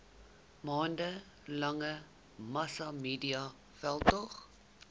maande lange massamediaveldtog